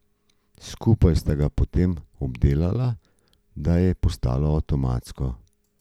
Skupaj sta ga potem obdelala, da je postalo avtomatsko.